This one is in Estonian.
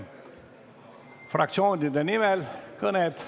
Fraktsioonide nimel kõned.